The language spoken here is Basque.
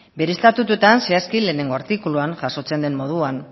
bere estatutuetan zehazki lehenengo artikuluan jasotzen den moduan